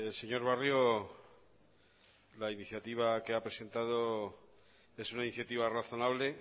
señor barrio la iniciativa que ha presentado es una iniciativa razonable